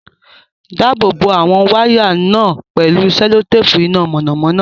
Dáàbò bo àwọn wáyà náà pẹ̀lú sẹ́lótéèpù iná mọ̀nàmọ́ná.